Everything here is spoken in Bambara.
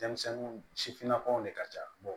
Denmisɛnnin sifinnakaw de ka ca